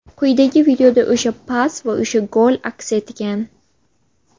Quyidagi videoda o‘sha pas va o‘sha gol aks etgan.